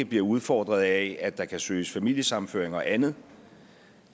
bliver udfordret af at der kan søges om familiesammenføring og andet